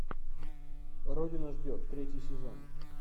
родина ждет третий сезон